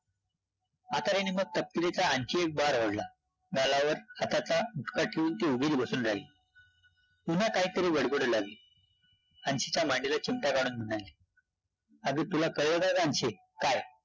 म्हातारीने मग कस्तुरीचा आणखी एक आवडला, गालावर हाताचा ठेवून ती बसून राहिली पुन्हा काहीतरी बडबडू लागली, अन्शीच्या मांडीला चिमटा काढून म्हणाली, अगं, तुला कळलं का गं अन्शे? काय?